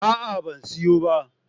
A'a ban siyo ba